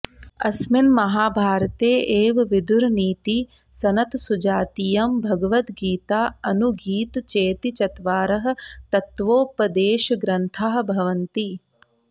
अस्मिन् महाभारते एव विदुरनीतिः सनत्सुजातीयम् भगवद्गीता अनुगीत चेति चत्वारः तत्त्वोपदेशग्रन्थाः भवन्ति